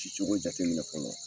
Cicogo jateminɛ fɔlɔ.